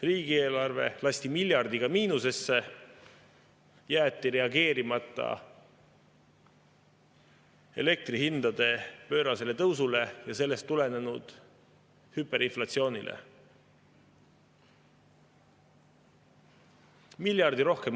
Riigieelarve lasti miljardiga miinusesse, jäeti reageerimata elektrihindade pöörasele tõusule ja sellest tulenenud hüperinflatsioonile.